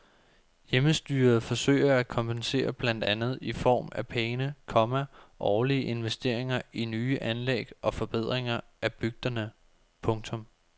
Hjemmestyret forsøger at kompensere blandt andet i form af pæne, komma årlige investeringer i nye anlæg og forbedringer i bygderne. punktum